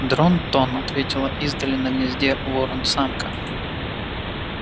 дрон-тон ответила издали на гнезде ворон-самка